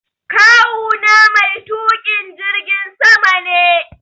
Kawu na mai tuƙa jirgin sama ne.